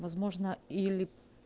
возможно или